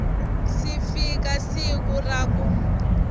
si fika siku ra ku